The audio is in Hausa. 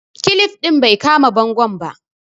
kilip din bai kama bangon ba